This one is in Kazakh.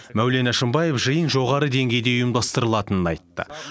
мәулен әшімбаев жиын жоғары деңгейде ұйымдастырылатынын айтты